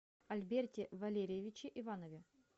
альберте валерьевиче иванове